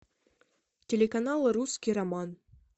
телеканал русский роман